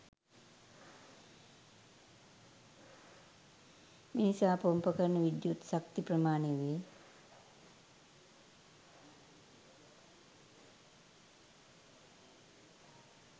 මිනිසා පොම්ප කරන විද්‍යුත් ශක්ති ප්‍රමාණය වේ.